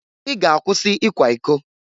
I ga-akwụsị ikwa iko!